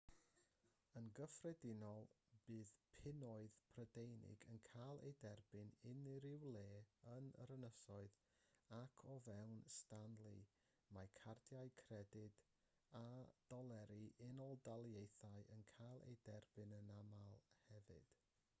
yn gyffredinol bydd punnoedd prydeinig yn cael eu derbyn unrhyw le yn yr ynysoedd ac o fewn stanley mae cardiau credyd a doleri'r unol daleithiau yn cael eu derbyn yn aml hefyd